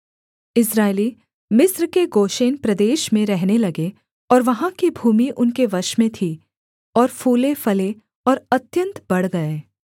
इस्राएली मिस्र के गोशेन प्रदेश में रहने लगे और वहाँ की भूमि उनके वश में थी और फूलेफले और अत्यन्त बढ़ गए